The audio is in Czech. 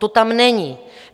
To tam není.